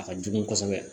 A ka jugu kosɛbɛ